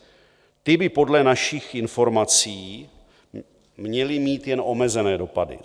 Ty by podle našich informací měly mít jen omezené dopady.